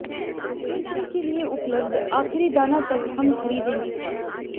बिक्री के लिए उपलब्ध आखिरी दाना तक हम खरीदेंगे